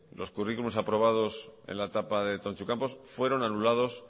los curriculums aprobados en la etapa de tontxu campos fueron anulados